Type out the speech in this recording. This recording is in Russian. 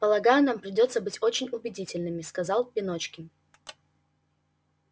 полагаю нам придётся быть очень убедительными сказал пеночкин